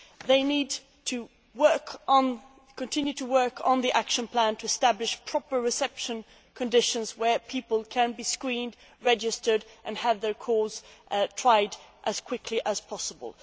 It needs to continue to work on the action plan to establish proper reception conditions where people can be screened, registered and have their cases tried as quickly as possible.